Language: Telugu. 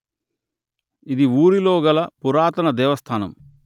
ఇది ఊరిలో గల పురాతన దేవస్థానము